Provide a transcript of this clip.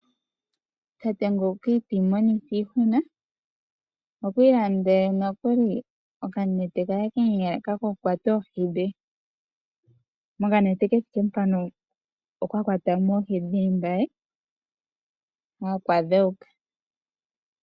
Omuntu nguka iti imonitha iihuna kwi ilandele nokuli okanete kokukwata oohi dhe. Mokanete kethike mpano okwa kwatamo oohi dhe dhili mbali nokwa dhewuka.